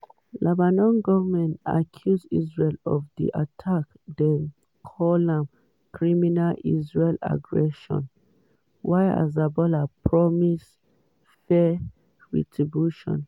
lebanon goment accuse israel of di attacks dem call am "criminal israeli aggression" while hezbollah promise "fair retribution."